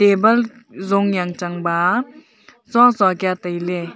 bulb jong yang chang ba chua chua kya taile.